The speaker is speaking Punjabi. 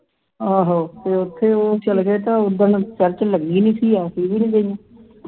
ਆਹੋ ਉੱਥੇ ਉਹ ਚਲੇ ਗਏ ਤੇ ਉਹ ਦਿਨ church ਲੱਗੀ ਨਹੀਂ ਸੀ ਅਸੀਂ ਵੀ ਨਹੀਂ ਗਈਆਂ ਅਸੀਂ